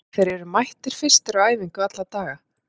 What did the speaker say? Þeir eru mættir fyrstir á æfingu alla daga.